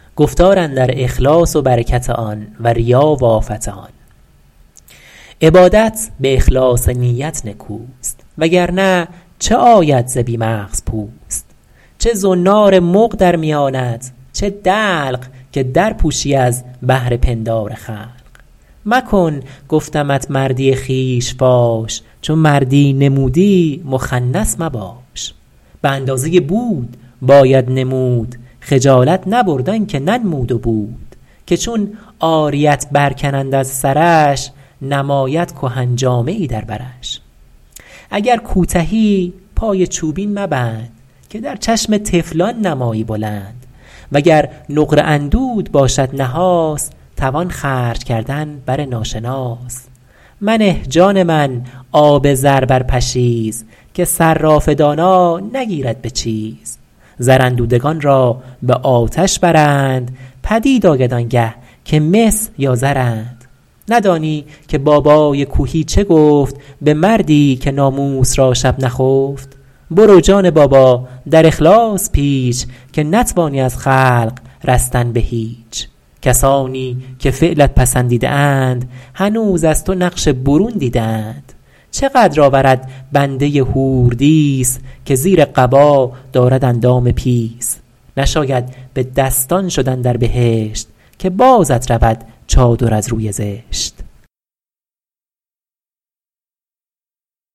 عبادت به اخلاص نیت نکوست وگر نه چه آید ز بی مغز پوست چه زنار مغ در میانت چه دلق که در پوشی از بهر پندار خلق مکن گفتمت مردی خویش فاش چو مردی نمودی مخنث مباش به اندازه بود باید نمود خجالت نبرد آن که ننمود و بود که چون عاریت بر کنند از سرش نماید کهن جامه ای در برش اگر کوتهی پای چوبین مبند که در چشم طفلان نمایی بلند وگر نقره اندوده باشد نحاس توان خرج کردن بر ناشناس منه جان من آب زر بر پشیز که صراف دانا نگیرد به چیز زر اندودگان را به آتش برند پدید آید آنگه که مس یا زرند ندانی که بابای کوهی چه گفت به مردی که ناموس را شب نخفت برو جان بابا در اخلاص پیچ که نتوانی از خلق رستن به هیچ کسانی که فعلت پسندیده اند هنوز از تو نقش برون دیده اند چه قدر آورد بنده حوردیس که زیر قبا دارد اندام پیس نشاید به دستان شدن در بهشت که بازت رود چادر از روی زشت